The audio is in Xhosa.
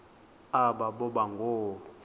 aba boba ngoo